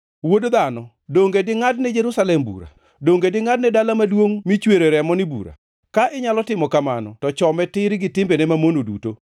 “Wuod dhano, donge dingʼadni Jerusalem bura? Donge dingʼadni dala maduongʼ michwere remoni bura? Ka inyalo timo kamano to chome tir gi timbene mamono duto